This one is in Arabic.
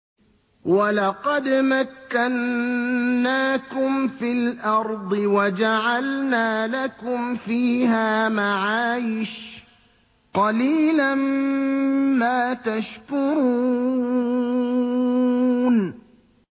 وَلَقَدْ مَكَّنَّاكُمْ فِي الْأَرْضِ وَجَعَلْنَا لَكُمْ فِيهَا مَعَايِشَ ۗ قَلِيلًا مَّا تَشْكُرُونَ